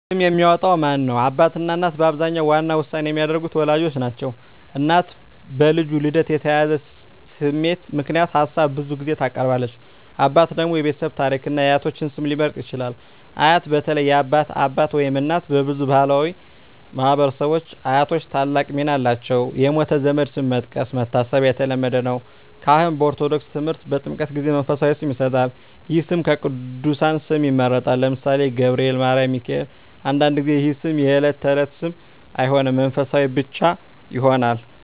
ስም የሚያወጣው ማን ነው? አባትና እናት በአብዛኛው ዋና ውሳኔ የሚያደርጉት ወላጆች ናቸው። እናት በልጁ ልደት የተያያዘ ስሜት ምክንያት ሀሳብ ብዙ ጊዜ ታቀርባለች። አባት ደግሞ የቤተሰብ ታሪክን እና የአያቶች ስም ሊመርጥ ይችላል። አያት (በተለይ የአባት አባት/እናት) በብዙ ባሕላዊ ማኅበረሰቦች አያቶች ታላቅ ሚና አላቸው። የሞተ ዘመድ ስም መስጠት (መታሰቢያ) የተለመደ ነው። ካህን (በኦርቶዶክስ ተምህርት) በጥምቀት ጊዜ መንፈሳዊ ስም ይሰጣል። ይህ ስም ከቅዱሳን ስም ይመረጣል (ለምሳሌ፦ ገብርኤል፣ ማርያም፣ ሚካኤል)። አንዳንድ ጊዜ ይህ ስም የዕለት ተዕለት ስም አይሆንም፣ መንፈሳዊ ብቻ ይሆናል።